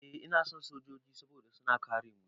Eh ina son sojoji saboda suna kare mu.